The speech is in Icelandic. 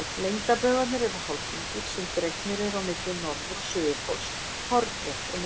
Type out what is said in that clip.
Lengdarbaugar eru hálfhringir sem dregnir eru á milli norður- og suðurpóls hornrétt á miðbaug.